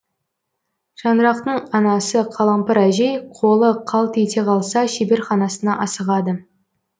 шаңырақтың анасы қалампыр әжей қолы қалт ете қалса шеберханасына асығады